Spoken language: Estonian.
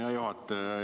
Hea juhataja!